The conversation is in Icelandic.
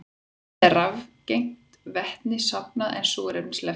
Vatnið er rafgreint, vetninu safnað en súrefni sleppt út.